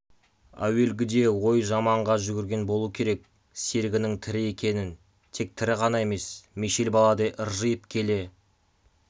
әуелгіде ойы жаманға жүгірген болуы керек серігінің тірі екенін тек тірі ғана емес мешел баладай ыржиып келе